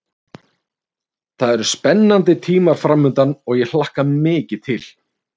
Það eru spennandi tímar framundan og ég hlakka mikið til.